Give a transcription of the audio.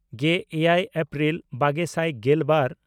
ᱜᱮᱼᱮᱭᱟᱭ April ᱵᱟᱜᱮ ᱥᱟᱭ ᱜᱮᱞᱵᱟᱨ